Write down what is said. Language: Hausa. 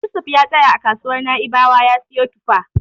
Yusuf ya tsaya a kasuwar Na'ibawa ya siyo tufa.